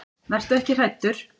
Vertu ekki hræddur.